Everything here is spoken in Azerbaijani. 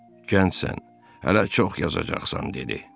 Cəngsən, hələ çox yazacaqsan dedi.